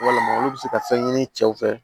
Walama olu bɛ se ka fɛn ɲini cɛw fɛ